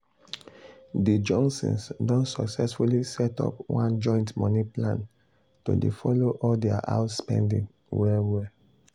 de johnsons don successfully set up one joint money plan to dey follow all dia house spending well well. well.